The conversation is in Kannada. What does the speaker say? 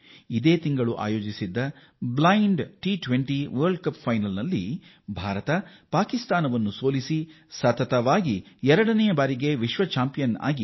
ಈ ತಿಂಗಳ ಆರಂಭದಲ್ಲಿ ಟಿ 20 ಅಂಧರ ವಿಶ್ವಕಪ್ ಪಂದ್ಯಾವಳಿಯಲ್ಲಿ ಪಾಕಿಸ್ತಾನವನ್ನು ಮಣಿಸಿ ಭಾರತ ತಂಡ ಎರಡನೇ ಬಾರಿಗೆ ಸತತವಾಗಿ ಚಾಂಪಿಯನ್ ಆಗಿದೆ